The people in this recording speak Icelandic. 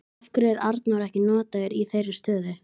Af hverju er Arnór ekki notaður í þeirri stöðu?